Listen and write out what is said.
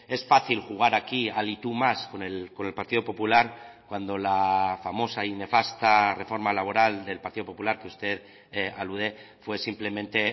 es fácil jugar aquí al y tú más con el partido popular cuando la famosa y nefasta reforma laboral del partido popular que usted alude fue simplemente